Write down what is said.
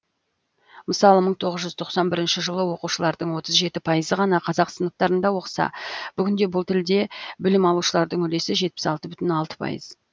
мысалы мың тоғыз жүз тоқсан бірінші жылы оқушылардың отыз жеті пайызы ғана қазақ сыныптарында оқыса бүгінде бұл тілде білім алушылардың үлесі жетпіс алты бүтін оннан алты пайыз